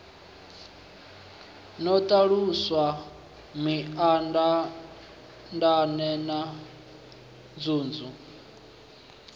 no ṱalusa mindaandaane na nzunzu